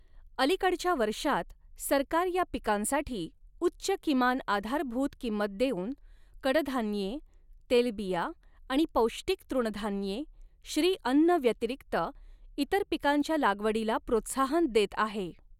अलिकडच्या वर्षांत, सरकार या पिकांसाठी उच्च किमान आधारभूत किंमत देऊन, कडधान्ये, तेलबिया आणि पौष्टिक तृणधान्ये श्री अन्न व्यतिरिक्त इतर पिकांच्या लागवडीला प्रोत्साहन देत आहे.